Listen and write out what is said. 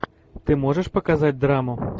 ты можешь показать драму